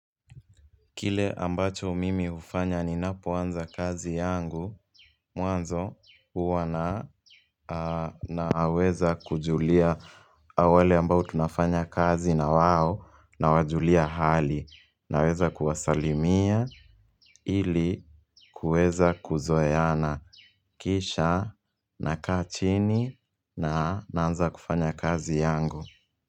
Kile ambacho mimi hufanya ni ninapo anza kazi yangu, mwanzo huwa na naweza kujulia wale ambao tunafanya kazi na wao nawajulia hali naweza kuwasalimia ili kuweza kuzoeana kisha nakaa chini na naanza kufanya kazi yangu.